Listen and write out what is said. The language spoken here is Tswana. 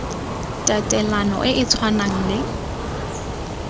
tatelano e e tshwanang le